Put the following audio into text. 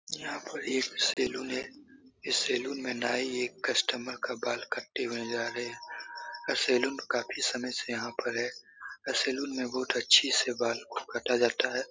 यहाँ पर एक सैलून है इस सैलून मे नाई एक कस्टमर का बाल काटते हुए नजर आ रहे है और सैलून काफी समय से यहाँ पर है और सैलून मे बहुत अच्छे से बाल को कटा जाता है।